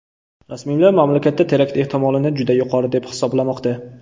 Rasmiylar mamlakatda terakt ehtimolini juda yuqori deb hisoblamoqda.